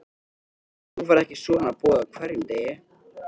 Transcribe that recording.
En þú færð ekki svona boð á hverjum degi.